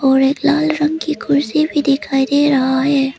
और एक लाल रंग की कुर्सी भी दिखाई दे रहा है।